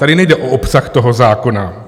Tady nejde o obsah toho zákona.